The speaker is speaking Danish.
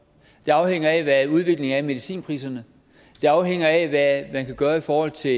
det afhænger af hvad udviklingen er i medicinpriserne det afhænger af hvad man kan gøre i forhold til